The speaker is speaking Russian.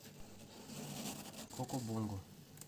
кокобонго